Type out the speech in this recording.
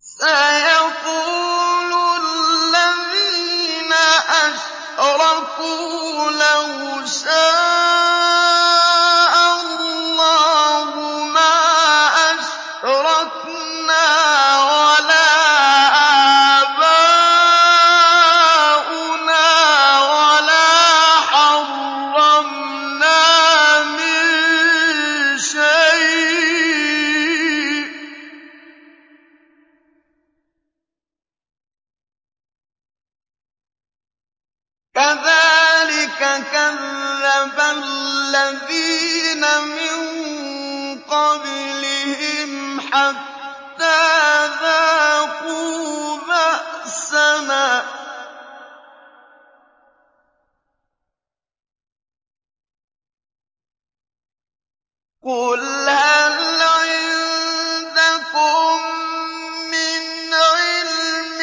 سَيَقُولُ الَّذِينَ أَشْرَكُوا لَوْ شَاءَ اللَّهُ مَا أَشْرَكْنَا وَلَا آبَاؤُنَا وَلَا حَرَّمْنَا مِن شَيْءٍ ۚ كَذَٰلِكَ كَذَّبَ الَّذِينَ مِن قَبْلِهِمْ حَتَّىٰ ذَاقُوا بَأْسَنَا ۗ قُلْ هَلْ عِندَكُم مِّنْ عِلْمٍ